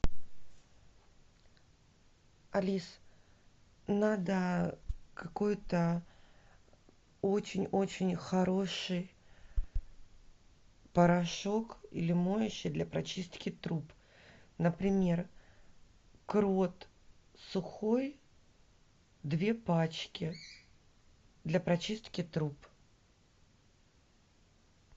алис надо какой то очень очень хороший порошок или моющее для прочистки труб например крот сухой две пачки для прочистки труб